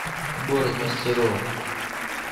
город мастеров